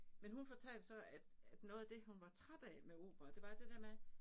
Men hun fortalte så at at noget af det hun var træt af med opera det var det der med